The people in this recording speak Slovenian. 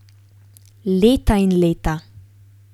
Leta in leta.